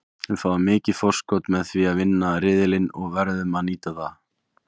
Við fáum mikið forskot með því að vinna riðilinn og verðum að nýta það.